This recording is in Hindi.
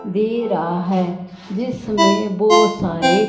दे रहा है जिसमे बहोत सारे--